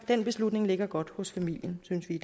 den beslutning ligger godt hos familien synes vi